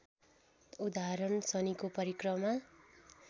उदाहरण शनिको परिक्रमा